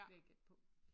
Vil jeg gætte på